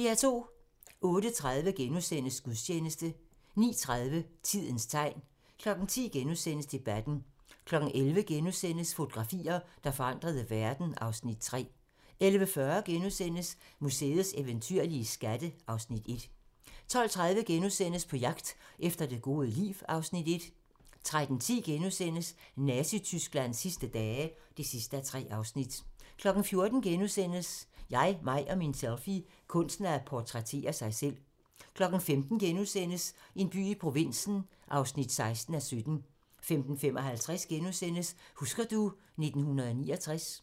08:30: Gudstjeneste * 09:30: Tidens tegn 10:00: Debatten * 11:00: Fotografier, der forandrede verden (Afs. 3)* 11:40: Museets eventyrlige skatte (Afs. 1)* 12:30: På jagt efter det gode liv (Afs. 1)* 13:10: Nazi-Tysklands sidste dage (3:3)* 14:00: Jeg, mig og min selfie - kunsten at portrættere sig selv * 15:00: En by i provinsen (16:17)* 15:55: Husker du ... 1969 *